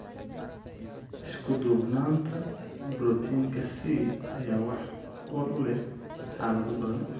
Isku-duubnaanta borotiinka C ayaa wax ku ool u leh xaalado badan.